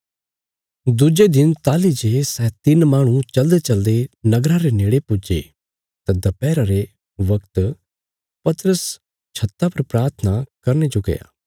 दुजे दिन ताहली जे सै तिन्न माहणु चलदेचलदे नगरा रे नेड़े पुज्जे तां दपैहर रे बगता पतरस छत्ता पर प्राथना करने जो गया